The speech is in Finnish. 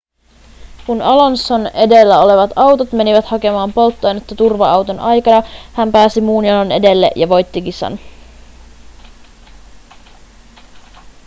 kun alonson edellä olevat autot menivät hakemaan polttoainetta turva-auton aikana hän pääsi muun jonon edelle ja voitti kisan